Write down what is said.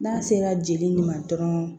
N'a sera jeli ma dɔrɔn